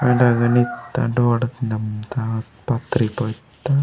वेंडे वेन इत्तान डोडा तिना मुत्ता पत्री पोईत्तान।